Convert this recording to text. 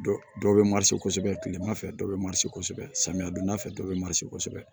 Dɔ dɔw bɛ kosɛbɛ kilema fɛ dɔw bɛ kosɛbɛ samiyɛ donda fɛ dɔ bɛ kosɛbɛ